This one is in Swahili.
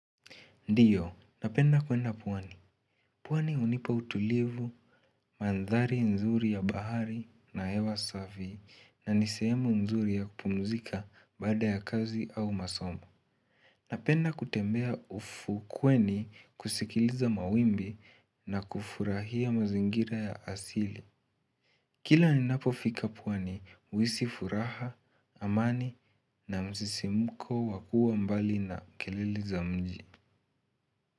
Ndio napenda kuenda pwani. Pwani hunipa utulivu, mandhari nzuri ya bahari na hewa safi na ni sehemu nzuri ya kupumzika baada ya kazi au masomo. Napenda kutembea ufukweni kusikiliza mawimbi na kufurahia mazingira ya asili. Kila ninapofika pwani, huhisi furaha, amani na msisimko wa kuwa mbali na kelele za mji.